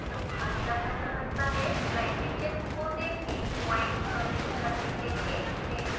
slide के चित्र को देखें पॉइंट्स प्रविष्ट करने के लिए इसे मिनिमाइज़ करें